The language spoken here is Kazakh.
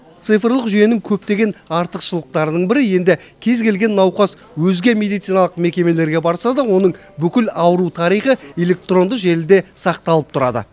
цифрлық жүйенің көптеген артықшылықтарының бірі енді кез келген науқас өзге медициналық мекемелерге барса да оның бүкіл ауру тарихы электронды желіде сақталып тұрады